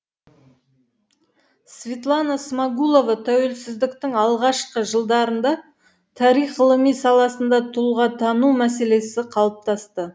светлана смағұлова тәуелсіздіктің алғашқы жылдарында тарих ғылымы саласында тұлғатану мәселесі қалыптасты